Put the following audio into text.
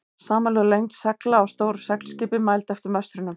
Samanlögð lengd segla á stóru seglskipi, mæld eftir möstrunum.